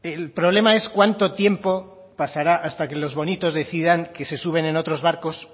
el problema es cuánto tiempo pasará hasta que los bonitos decidan que se suben en otros barcos